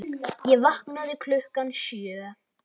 Ég vaknaði klukkan sjö.